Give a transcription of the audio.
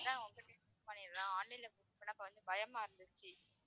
சரிங்களா online ல book பண்றதுன்னா கொஞ்சம் பயமா இருந்துச்சு.